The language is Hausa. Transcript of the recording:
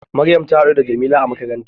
Maryam ta haɗu da Jamila a makaranta